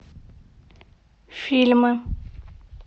фильмы